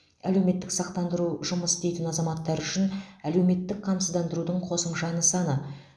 әлеуметтік сақтандыру жұмыс істейтін азаматтар үшін әлеуметтік қамсыздандырудың қосымша нысаны